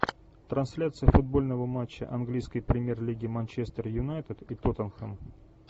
трансляция футбольного матча английской премьер лиги манчестер юнайтед и тоттенхэм